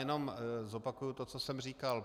Jenom zopakuji to, co jsem říkal.